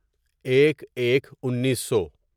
ایک ایک انیسو